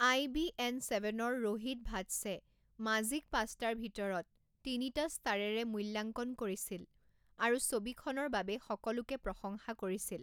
আই B N ছেভেনৰ ৰোহিত ভাটছে মাজিক পাঁচটাৰ ভিতৰত তিনিটা ষ্টাৰেৰে মূল্যাংকন কৰিছিল আৰু ছবিখনৰ বাবে সকলোকে প্ৰশংসা কৰিছিল।